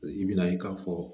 I bi na ye k'a fɔ